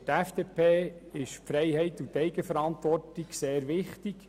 Für die FDP ist Freiheit und Eigenverantwortung sehr wichtig.